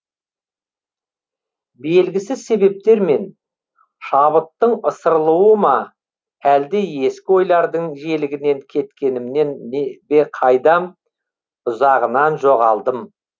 белгісіз себептермен шабыттың ысырылуы ма әлде ескі ойлардың желегінен кеткенімнен бе қайдам ұзағынан жоғалдым